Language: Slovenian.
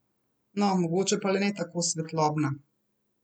No, mogoče pa le ne tako svetlobna!